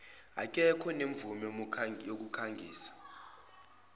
aketho onemvume yokukhangisa